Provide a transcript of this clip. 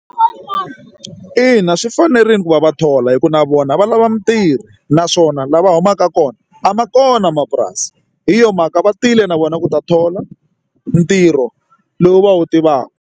Ina, swi fanerile ku va va thola hikuva na vona va lava mintirho naswona lava humaka kona a ma kona mapurasi hi yona mhaka va tile na vona ku ta thola ntirho lowu va wu tivaka.